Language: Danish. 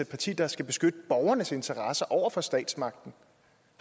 parti der skal beskytte borgernes interesser over for statsmagten